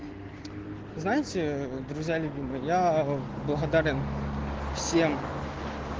знаете друзья любимые я благодарен всем